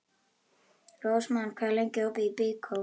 Rósmann, hvað er lengi opið í Byko?